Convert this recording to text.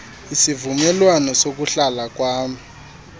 isivumelwano sokuhlala kwam